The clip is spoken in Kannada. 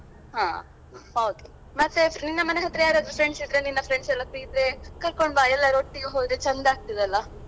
ಹ ಹೌದು ಮತ್ತೆ ನಿನ್ನ ಮನೆ ಹತ್ರ ಯಾರಾದ್ರೂ friends ಇದ್ರೆ ನಿನ್ನ friends ಎಲ್ಲಾ free ಇದ್ರೆ ಕರ್ಕೊಂಡು ಬಾ ಎಲ್ಲರೂ ಒಟ್ಟಿಗೆ ಹೋದ್ರೆ ಚಂದಾಗ್ತಾದಲ್ಲಾ?